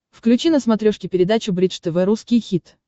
включи на смотрешке передачу бридж тв русский хит